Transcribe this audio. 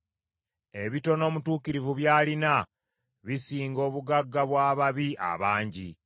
Ebitono omutuukirivu by’alina bisinga obugagga bw’ababi abangi;